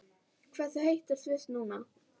Hversu heitt er í Sviss núna?